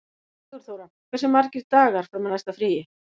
Sigurþóra, hversu margir dagar fram að næsta fríi?